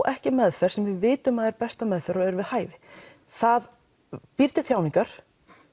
ekki meðferð sem við vitum að er besta meðferðin og er við hæfi það býr til þjáningar